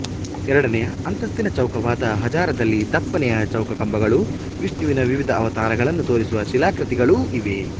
ಎರಡನೆಯ ಅಂತಸ್ತಿನ ಚೌಕವಾದ ಹಜಾರದಲ್ಲಿ ದಪ್ಪನೆಯ ಚೌಕಕಂಬಗಳೂ ವಿಷ್ಣುವಿನ ವಿವಿಧ ಅವತಾರಗಳನ್ನು ತೋರಿಸುವ ಶಿಲಾಕೃತಿಗಳೂ ಇವೆ